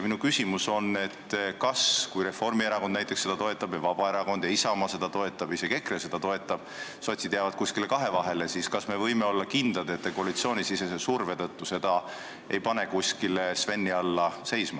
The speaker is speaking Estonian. Minu küsimus on selline: kui näiteks Reformierakond seda toetab, Vabaerakond ja Isamaa toetavad, isegi EKRE toetab, aga sotsid jäävad kuskile kahevahele, siis kas me võime olla kindlad, et te koalitsioonisisese surve tõttu seda ei pane kuskile Sveni alla seisma.